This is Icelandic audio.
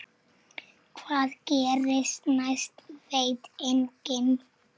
Hvað gerist næst veit enginn.